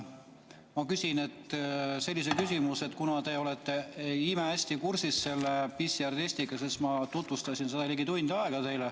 Ma küsin sellise küsimuse, kuna te olete imehästi kursis selle PCR-testiga, sest ma tutvustasin seda teile ligi tund aega.